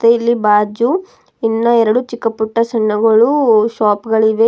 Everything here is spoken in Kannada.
ಮತ್ತೆ ಇಲ್ಲಿ ಬಾಜು ಇನ್ನ ಎರಡು ಚಿಕ್ಕ ಪುಟ್ಟ ಸಣ್ಣಗಳು ಶಾಪ್ ಗಳಿವೆ. ಇಲ್ಲೂ --